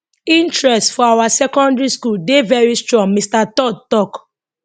interest for our secondary school dey very strong mr todd tok